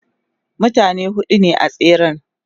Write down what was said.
mutane huɗu ne a tseren